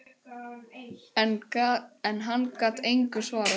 En hann gat engu svarað.